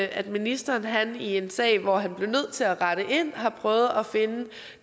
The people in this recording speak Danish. at ministeren i en sag hvor han bliver nødt til at rette ind har prøvet at finde